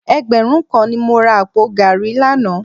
Ẹgbẹ̀rún kan ni mo ra àpò gààrí lánàá